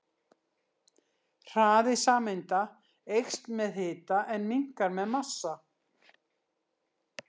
Hraði sameinda eykst með hita en minnkar með massa.